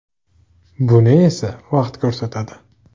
Buni esa vaqt ko‘rsatadi.